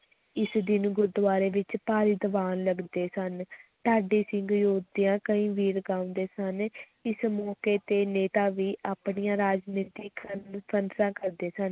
ਇਸ ਦਿਨ ਗੁਰਦੁਆਰੇ ਵਿੱਚ ਭਾਰੀ ਦੀਵਾਨ ਲਗਦੇ ਸਨ ਢਾਡੀ ਸਿੰਘ ਯੋਧਿਆਂ ਕਈ ਵੀਰ ਗਾਉਂਦੇ ਸਨ ਇਸ ਮੌਕੇ ਤੇ ਨੇਤਾ ਵੀ ਆਪਣੀਆਂ ਰਾਜਨੀਤਕ ਕਾਨਫ਼ਰੰਸਾਂ ਕਰਦੇ ਸਨ,